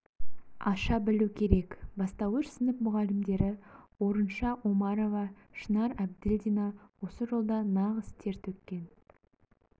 аша білу керек бастауыш сынып мұғалімдері орынша омарова шынар әбділдина осы жолда нағыз тер төккен